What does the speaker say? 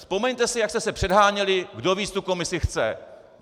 Vzpomeňte si, jak jste se předháněli, kdo víc tu komisi chce.